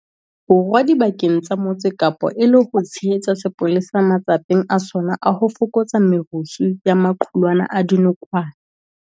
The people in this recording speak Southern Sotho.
Borwa dibakeng tsa Motse Kapa e le ho tshehetsa sepolesa matsapeng a sona a ho fokotsa merusu ya maqulwana a dinokwane.